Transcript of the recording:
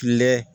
Kile